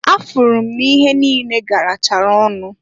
Afụrụ m n'ihe niine garachara ọnụ.